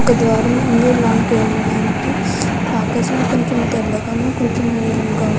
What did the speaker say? వల ద్వురము ఉనది. లోపలాలి కి వేలడానికి ఆకాశము కోచము నీలగ కను కోచము తెలగ కను ఉనది.